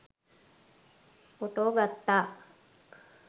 Photo ගත්තා.